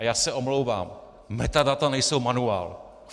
A já se omlouvám, metadata nejsou manuál.